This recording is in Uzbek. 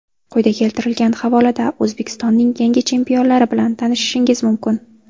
Quyida keltirilgan havolada O‘zbekistonning yangi chempionlari bilan tanishishingiz mumkin.